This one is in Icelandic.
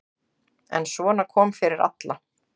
En svona kom fyrir alla.